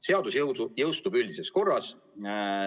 Seadus jõustub üldises korras.